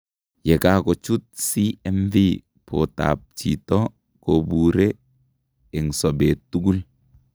Yekakochuut CMV bootab chito kobuure eng sobeet tugul